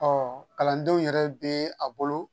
Ɔ kalandenw yɛrɛ bɛ a bolo